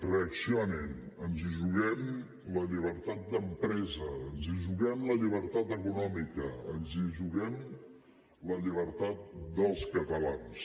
reaccionin ens hi juguem la llibertat d’empresa ens hi juguem la llibertat econòmica ens hi juguem la llibertat dels catalans